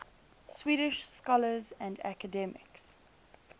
swedish scholars and academics